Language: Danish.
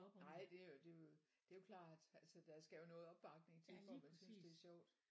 Nej det jo det jo det jo klart altså der skal jo noget opbakning til før man synes det er sjovt